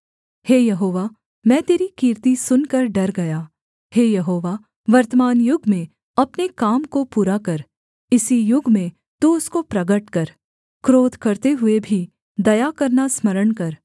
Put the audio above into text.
हे यहोवा मैं तेरी कीर्ति सुनकर डर गया हे यहोवा वर्तमान युग में अपने काम को पूरा कर इसी युग में तू उसको प्रगट कर क्रोध करते हुए भी दया करना स्मरण कर